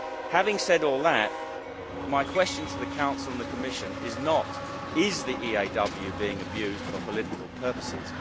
Having said all that, my question to the Council and the Commission is not is the EAW being abused for political purposes?